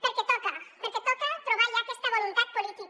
perquè toca perquè toca trobar ja aquesta voluntat política